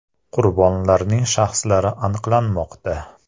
Qurbonlarning shaxslari aniqlanmoqda.